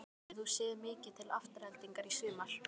Hefur þú séð mikið til Aftureldingar í sumar?